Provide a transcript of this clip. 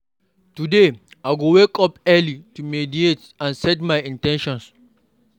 Today, I go wake up early to meditate and set my in ten tions.